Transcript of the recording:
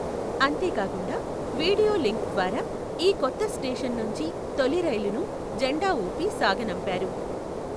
అంతే కాకుండా video link ద్వారా ఈ కొత్త స్టేషన్ నుంచి తొలి రైలును జెండా ఊపి సాగనంపారు.